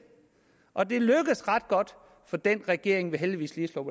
og det lykkedes ret godt for den regering vi heldigvis lige